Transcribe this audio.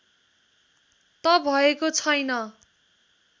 त भएको छैन